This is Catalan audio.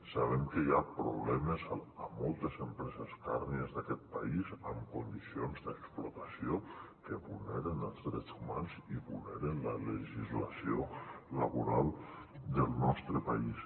sabem que hi ha problemes a moltes empreses càrnies d’aquest país en condicions d’explotació que vulneren els drets humans i vulneren la legislació laboral del nostre país